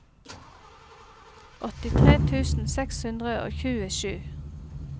åttitre tusen seks hundre og tjuesju